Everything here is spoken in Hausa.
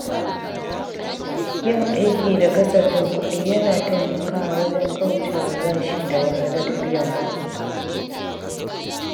Yin aiki da kasafin kuɗi yana taimakawa wajen kauce wa bashi da wahalar biyan kuɗi.